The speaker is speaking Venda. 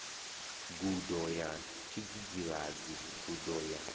gudo ya tshidzidzivhadzi gudo ya